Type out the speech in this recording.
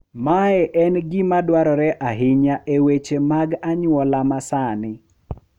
Mae en gima dwarore ahinya e weche mag anyuola ma sani,